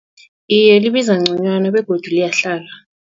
Iye, libiza ngconywana begodu liyahlala.